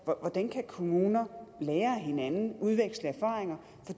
på hvordan kan kommuner lære af hinanden udveksle erfaringer